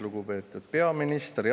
Lugupeetud peaminister!